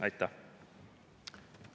Aitäh!